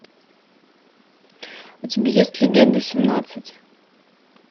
у тебя есть легенда семнадцать